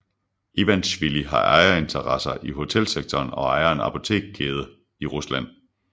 Ivanisjvili har ejerinteresser i hotelsektoren og ejer en apotekkæde i Rusland